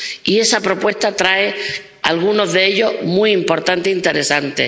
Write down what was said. Y esa propuesta trae algunos de ellos, muy importantes e interesantes.